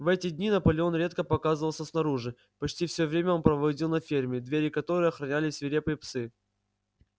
в эти дни наполеон редко показывался снаружи почти всё время он проводил на ферме двери которой охраняли свирепые псы